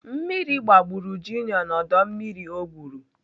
Mmiri gbagburu Junior na ọdọ mmiri ọ gwụrụ.